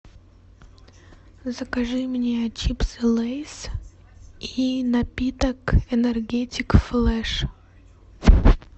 закажи мне чипсы лейс и напиток энергетик флеш